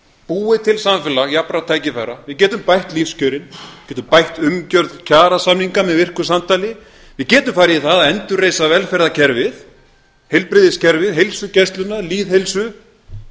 búið til samfélag jafnra tækifæra við getum bætt lífskjörin getum gætt umgjörð kjarasamninga með virku samtali við getum farið í það að endurreisa velferðarkerfið heilbrigðiskerfið heilsugæsluna lýðheilsu